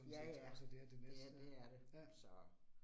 Ja ja, det det er det så